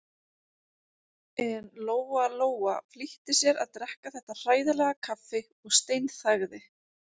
En Lóa-Lóa flýtti sér að drekka þetta hræðilega kaffi og steinþagði.